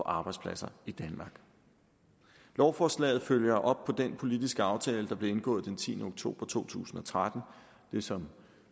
arbejdspladser i danmark lovforslaget følger op på den politiske aftale der blev indgået den tiende oktober to tusind og tretten det som